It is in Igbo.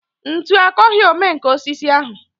Ntu akọghị omenkà osisi ahụ